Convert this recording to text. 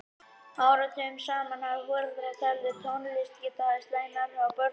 Áratugum saman hafa foreldrar talið að tónlist gæti haft slæm áhrif á börn og unglinga.